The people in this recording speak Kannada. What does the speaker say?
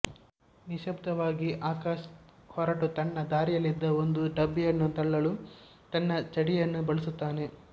ನಿಶ್ಶಬ್ದವಾಗಿ ಆಕಾಶ್ ಹೊರಟು ತನ್ನ ದಾರಿಯಲ್ಲಿದ್ದ ಒಂದು ಡಬ್ಬಿಯನ್ನು ತಳ್ಳಲು ತನ್ನ ಛಡಿಯನ್ನು ಬಳಸುತ್ತಾನೆ